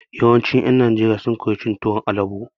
Yawancin ƴen Najeriya sun koya cin tuwon albo.